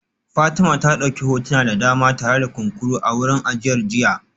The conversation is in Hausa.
Fatima ta dauki hotuna da dama tare da kunkuru a wurin ajiyar jiya